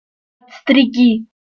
стриги